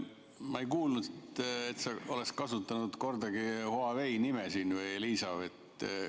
Ma ei kuulnud, et sa oleksid kasutanud kordagi Huawei või Elisa nime.